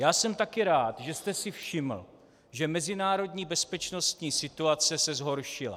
Já jsem taky rád, že jste si všiml, že mezinárodní bezpečnostní situace se zhoršila.